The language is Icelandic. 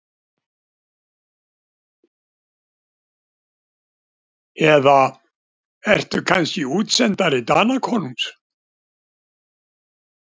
Eða ertu kannski útsendari Danakonungs?